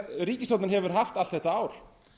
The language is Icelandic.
ríkisstjórnin hefur haft allt þetta ár